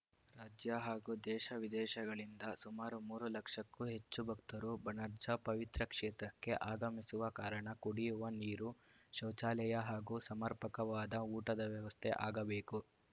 ರಾಜ್ಯ ಹಾಗೂ ದೇಶ ವಿದೇಶಗಳಿಂದ ಸುಮಾರು ಮೂರು ಲಕ್ಷಕ್ಕೂ ಹೆಚ್ಚು ಭಕ್ತರು ಬಣಜಾರ್‌ ಪವಿತ್ರ ಕ್ಷೇತ್ರಕ್ಕೆ ಆಗಮಿಸುವ ಕಾರಣ ಕುಡಿಯುವ ನೀರು ಶೌಚಾಲಯ ಹಾಗೂ ಸಮರ್ಪಕವಾದ ಊಟದ ವ್ಯವಸ್ಥೆ ಆಗಬೇಕು